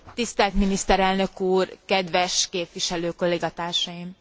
Tisztelt miniszterelnök úr, kedves képviselő kollégatársaim!